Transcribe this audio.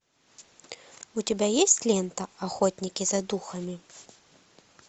у тебя есть лента охотники за духами